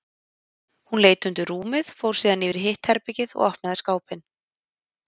Hún leit undir rúmið, fór síðan yfir í hitt herbergið og opnaði skápinn.